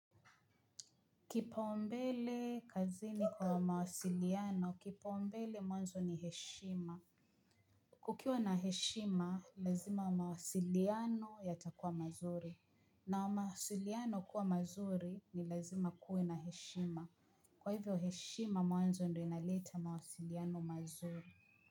Kipaombele kazini kwa mawasiliano, kipaombele mwanzo ni heshima. Kukiwa na heshima, lazima mawasiliano yatakuwa mazuri. Na mawasiliano kuwa mazuri ni lazima kuwe na heshima. Kwa hivyo heshima mwanzo ndo inaleta mawasiliano mazuri.